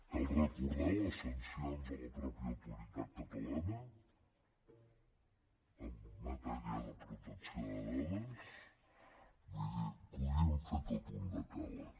cal recordar les sancions a la mateixa autoritat catalana en matèria de protecció de dades vull dir podríem fer tot un decàleg